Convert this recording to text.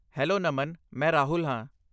Hello, Naman! ਮੈਂ ਰਾਹੁਲ ਹਾਂ।